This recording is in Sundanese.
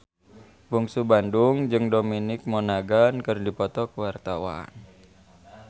Bungsu Bandung jeung Dominic Monaghan keur dipoto ku wartawan